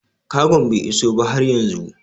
Kagon bai iso ba har yanzu